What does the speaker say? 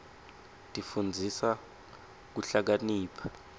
tsifundisa kuhlakanipha